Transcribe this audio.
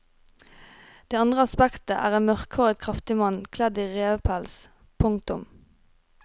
Det andre aspektet er en mørkhåret kraftig mann kledd i revepels. punktum